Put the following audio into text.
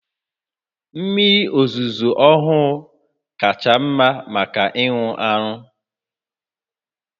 Mmiri ozuzo ọhụụ kacha mma maka ịṅụ aṅụ